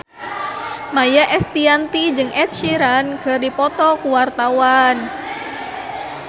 Maia Estianty jeung Ed Sheeran keur dipoto ku wartawan